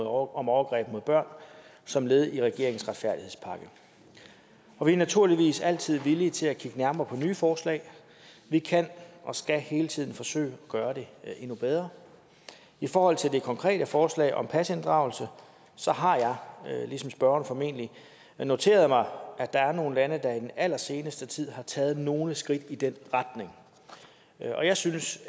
overgreb mod børn som led i regeringens retfærdighedspakke og vi er naturligvis altid villige til at kigge nærmere på nye foreslag vi kan og skal hele tiden forsøge at gøre det endnu bedre i forhold til det konkrete forslag om pasinddragelse så har jeg ligesom spørgeren formentlig noteret mig at der er nogle lande der i den allerseneste tid har taget nogle skridt i den retning jeg synes